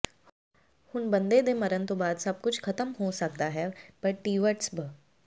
ਹੁਣ ਬੰਦੇ ਦੇ ਮਰਨ ਤੋਂ ਬਾਅਦ ਸਭ ਕੁਝ ਖਤਮ ਹੋ ਸਕਦਾ ਹੈ ਪਰ ਟੀਵਟਸ ਭ